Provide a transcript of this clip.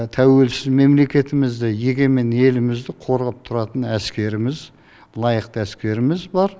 тәуелсіз мемлекетімізді егемен елімізді қорғап тұратын әскеріміз лайықты әскеріміз бар